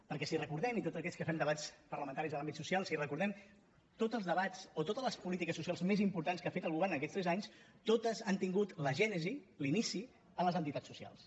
perquè si ho recordem tots aquells que fem debats parlamentaris en l’àmbit social si ho recordem tots els debats o totes les polítiques socials més importants que ha fet el govern aquests tres anys totes han tingut la gènesi l’inici en les entitats socials